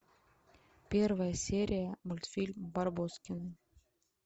первая серия мультфильм барбоскины